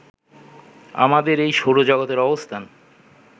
আমাদের এই সৌরজগতের অবস্থান